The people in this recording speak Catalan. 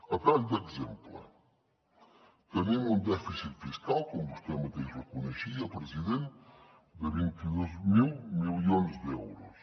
a tall d’exemple tenim un dèficit fiscal com vostè mateix reconeixia president de vint dos mil milions d’euros